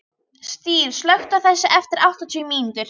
Styr, slökktu á þessu eftir áttatíu mínútur.